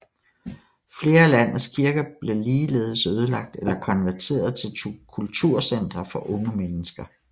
Flere af landets kirker blev ligeledes ødelagt eller konverteret til kulturcentre for unge mennesker